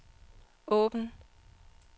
åbn